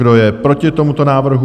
Kdo je proti tomuto návrhu?